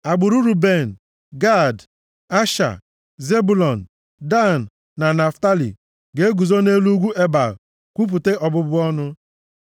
Agbụrụ Ruben, Gad, Asha, Zebụlọn, Dan na Naftalị ga-eguzo nʼelu ugwu Ebal kwupụta ọbụbụ ọnụ.